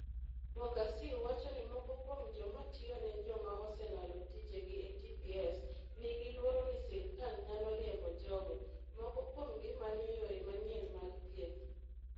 Bogaciu wacho ni moko kuom joma tiyo ne joma oselalo tijegi e TPS, nigi luoro ni sirkal nyalo riembo jogo. Moko kuomgi manyo yore manyien mag thieth.